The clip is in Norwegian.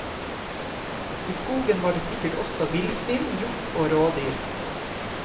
I skogen var det sikkert også villsvin, hjort og rådyr.